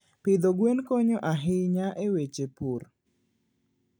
Pidho gwen konyo ahinya e weche pur.